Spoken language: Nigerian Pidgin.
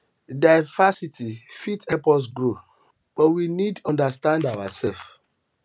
diversity fit help us grow but we need understand ourselves